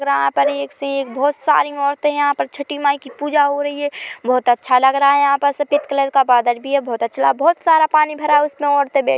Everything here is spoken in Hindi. यहाँ पर एक से एक बहुत सारी औरते यहाँ पर छटी माई की पूजा हो रही है बहुत अच्छा लग रहा है यहाँ पर सफेद कलर का बादल भी है बहुत अच्छा बहुत सारा पानी भी भरा हुआ है उसमे औरते बै--